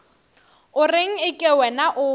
o reng eke wena o